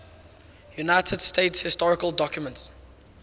united states historical documents